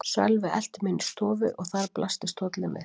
Sölvi elti mig inn í stofu og þar blasti stóllinn við.